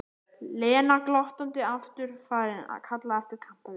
Lena glottandi aftur farin að kalla eftir kampavíni.